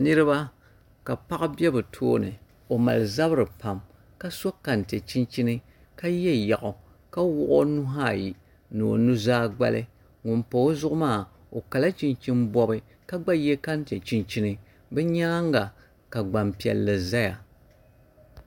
Niriba ka paɣa be bɛ puuni o mali zabiri pam ka so kante chinchini ka ye yaɣu ka wuɣi o nuhi ayi ni o nuzaa gbali ŋun pa o zuɣu maa o Kala chinchini bɔbi ka gba ye kante chinchini bɛ nyaanga ka gbampiɛlli zaya